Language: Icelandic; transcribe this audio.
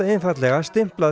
stimplað